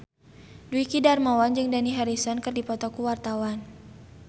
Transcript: Dwiki Darmawan jeung Dani Harrison keur dipoto ku wartawan